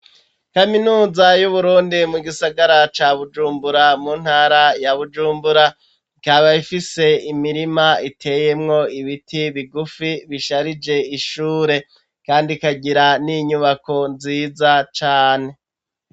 kaminuza y'uburundi mu gisagara ca bujumbura, mu ntara ya bujumbura, ikaba ifise imirima iteyemwo ibiti bigufi bisharije ishure ,kandi kagira n'inyubako nziza cane.